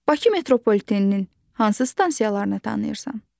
Bakı metropoliteninin hansı stansiyalarını tanıyırsan?